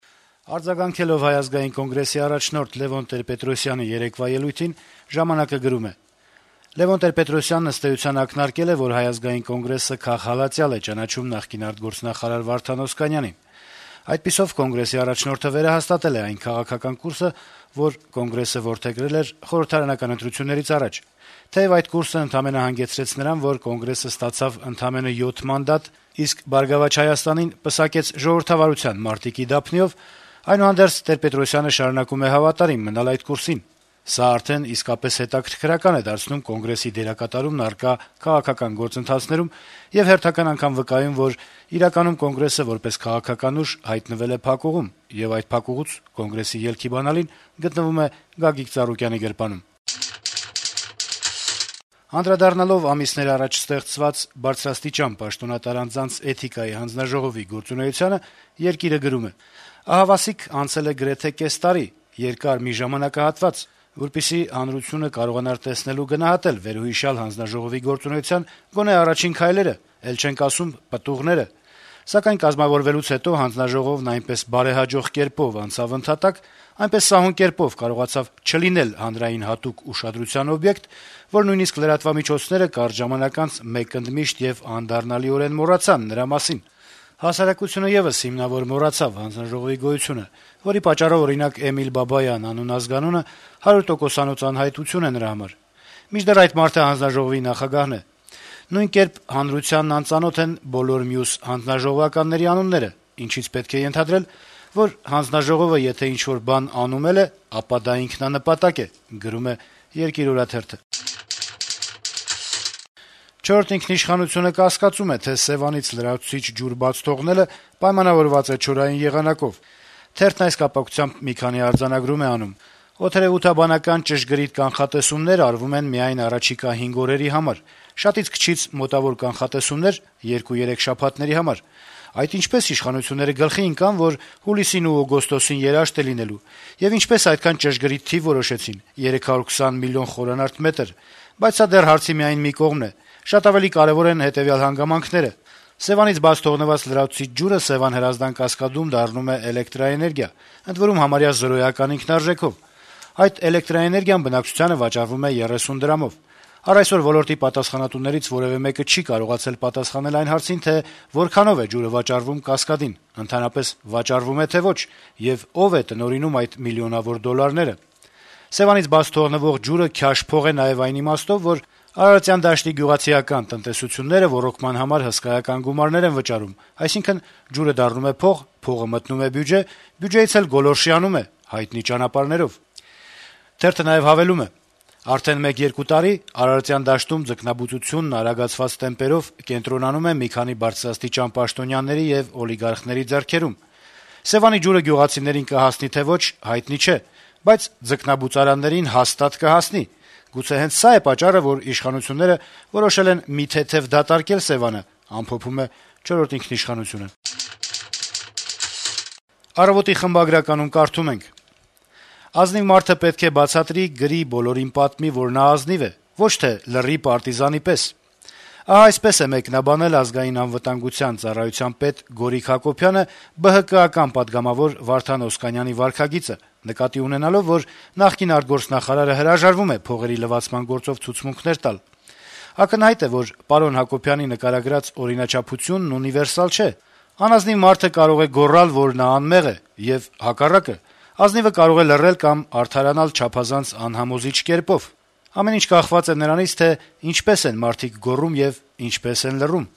Արձագանքելով Հայ ազգային կոնգրեսի առաջնորդ Լեւոն Տեր-Պետրոսյանի երեկվա ելույթին` «Ժամանակ»-ը գրում է. - «Լեւոն Տեր-Պետրոսյանն, ըստ էության, ակնարկել է, որ Հայ ազգային կոնգրեսը քաղհալածյալ է ճանաչում նախկին արտգործնախարար Վարդան Օսկանյանին։ Այդպիսով, Կոնգրեսի առաջնորդը վերահաստատել է այն քաղաքական կուրսը, որ Կոնգրեսը որդեգրել էր խորհրդարանական ընտրություններից առաջ։ Թեեւ այդ կուրսը ընդամենը հանգեցրեց նրան, որ Կոնգրեսը ստացավ ընդամենը 7 մանդատ, իսկ «Բարգավաճ Հայաստանին» պսակեց ժողովրդավարության մարտիկի դափնիով, այնուհանդերձ Տեր-Պետրոսյանը շարունակում է հավատարիմ մնալ այդ կուրսին։ Սա արդեն իսկապես հետաքրքրական է դարձնում Կոնգրեսի դերակատարումն առկա քաղաքական գործընթացներում եւ հերթական անգամ վկայում, որ իրականում Կոնգրեսը, որպես քաղաքական ուժ, հայտնվել է փակուղում, եւ այդ փակուղուց Կոնգրեսի ելքի բանալին գտնվում է Գագիկ Ծառուկյանի գրպանում»։ Անդրադառնալով ամիսներ առաջ ստեղծված բարձրաստիճան պաշտոնատար անձանց էթիկայի հանձնաժողովի գործունեությանը` «Երկիր»-ը գրում է. - «Ահավասիկ անցել է գրեթե կես տարի` երկար մի ժամանակահատված, որպեսզի հանրությունը կարողանար տեսնել ու գնահատել վերոհիշյալ հանձնաժողովի գործունեության գոնե առաջին քայլերը, էլ չենք ասում` պտուղները: Սակայն կազմավորվելուց հետո հանձնաժողովն այնպես բարեհաջող կերպով անցավ ընդհատակ, այնպես սահուն կերպով կարողացավ չլինել «հանրային հատուկ ուշադրության օբյեկտ», որ նույնիսկ լրատվամիջոցները կարճ ժամանակ անց մեկընդմիշտ եւ անդառնալիորեն մոռացան նրա մասին: Հասարակությունը եւս հիմնավոր մոռացավ հանձնաժողովի գոյությունը, որի պատճառով, օրինակ, Էմիլ Բաբայան անուն-ազգանունը հարյուրտոկոսանոց անհայտություն է նրա համար, մինչդեռ այդ մարդը հանձնաժողովի նախագահն է: Նույն կերպ հանրությանն անծանոթ են բոլոր մյուս հանձնաժողովականների անունները, ինչից պետք է ենթադրել, որ հանձնաժողովը եթե ինչ-որ բան անում էլ է, ապա դա ինքնանպատակ է»: «Չորրորդ ինքնիշխանություն»-ը կասկածում է, թե Սեւանից լրացուցիչ ջուր բաց թողնելը պայմանավորված է չորային եղանակով: Թերթն այս կապակցությամբ մի քանի արձանագրում է անում. - «Օդերեւութաբանական ճշգրիտ կանխատեսումներ արվում են միայն առաջիկա 5 օրերի համար, շատից-քչից մոտավոր կանխատեսումներ` 2-3 շաբաթների համար: Այդ ինչպե՞ս իշխանությունները գլխի ընկան, որ հուլիսին ու օգոստոսին երաշտ է լինելու, եւ ինչպե՞ս այդքան ճշգրիտ թիվ որոշեցին` 520 մլն խորանարդ մետր: Բայց սա դեռ հարցի միայն մի կողմն է: Շատ ավելի կարեւոր են հետեւյալ հանգամանքները: 1. Սեւանից բաց թողնված «լրացուցիչ» ջուրը Սեւան - Հրազդան կասկադում դառնում է էլեկտրաէներգիա, ընդ որում` համարյա զրոյական ինքնարժեքով: Այդ էլեկտրաէներգիան բնակչությանը վաճառվում է 30 դրամով: Առ այսօր ոլորտի պատասխանատուներից որեւէ մեկը չի կարողացել պատասխանել այն հարցին, թե որքանո՞վ է ջուրը վաճառվում կասկադին, ընդհանրապես վաճառվո՞ւմ է, թե՞ ոչ, եւ ո՞վ է տնօրինում այդ միլիոնավոր դոլարները: 2. Սեւանից բաց թողնվող ջուրը «քյաշ փող» է նաեւ այն իմաստով, որ Արարատյան դաշտի գյուղացիական տնտեսությունները ոռոգման համար հսկայական գումարներ են վճարում, այսինքն` ջուրը դառնում է փող, փողը մտնում է բյուջե, բյուջեից էլ «գոլորշիանում է» հայտնի ճանապարհներով: 3. Արդեն մեկ-երկու տարի Արարատյան դաշտում ձկնաբուծությունն արագացված տեմպերով կենտրոնանում է մի քանի բարձրաստիճան պաշտոնյաների եւ օլիգարխների ձեռքերում: Սեւանի ջուրը գյուղացիներին կհասնի, թե ոչ` հայտնի չէ, բայց ձկնաբուծարաններին հաստատ կհասնի: Գուցե հենց սա՞ է պատճառը, որ իշխանությունները որոշել են «մի թեթեւ» դատարկել Սեւանը»: «Առավոտ»-ի խմբագրականում կարդում ենք. - «Ազնիվ մարդը պետք է բացատրի, գրի, բոլորին պատմի, որ նա ազնիվ է, ոչ թե լռի պարտիզանի պես: Այդպես է մեկնաբանել Ազգային անվտանգության ծառայության պետ Գորիկ Հակոբյանը ԲՀԿ-ական պատգամավոր Վարդան Օսկանյանի վարքագիծը՝ նկատի ունենալով, որ նախկին արտգործնախարարը հրաժարվում է «փողերի լվացման» գործով ցուցմունքներ տալ: Ակնհայտ է, որ պարոն Հակոբյանի նկարագրած օրինաչափությունն ունիվերսալ չէ. անազնիվ մարդը կարող է գոռալ, որ նա անմեղ է, եւ հակառակը՝ ազնիվը կարող է լռել կամ արդարանալ չափազանց անհամոզիչ կերպով: Ամեն ինչ կախված է նրանից, թե ինչպես են մարդիկ գոռում եւ ինչպես են լռում»: